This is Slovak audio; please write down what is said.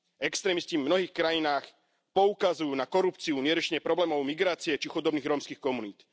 Extrémisti v mnohých krajinách poukazujú na korupciu, neriešenie problémov migrácie, či chudobných rómskych komunít.